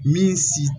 Min si